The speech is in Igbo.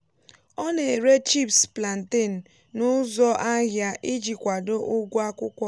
ọ na-ere chips plantain n’ụzọ ahịa iji kwado ụgwọ akwụkwọ.